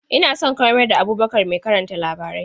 Ina so ka mayar da Abubakar mai karanta labarai.